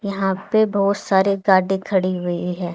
यहां पे बहोत सारे गाड़ी खड़ी हुई है।